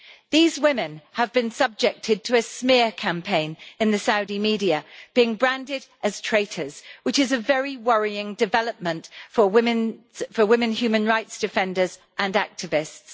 These women have been subjected to a smear campaign in the Saudi media, being branded as traitors, which is a very worrying development for women human rights defenders and activists.